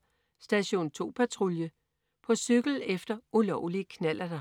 21.40 Station 2 Patrulje. På cykel efter ulovlige knallerter